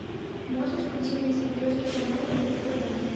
можешь включить на смотрешке канал рубль тв